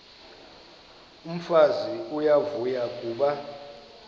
umfazi uyavuya kuba